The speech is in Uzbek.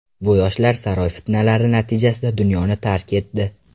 Bu yoshlar saroy fitnalari natijasida dunyoni tark etdi.